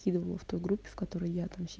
кидывала в той группе в которой я там си